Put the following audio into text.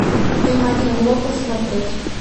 эм один глобал смотреть